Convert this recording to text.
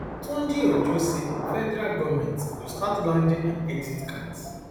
tunjiojo say federal goment go start landing and exit cards